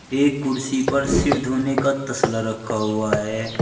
एक कुर्सी पर सिर धोने का तस्ला रखा हुआ है।